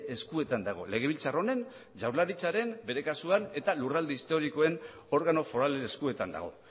eskuetan dago legebiltzar honen jaurlaritzaren bere kasuan eta lurralde historikoen organo foralen eskuetan dago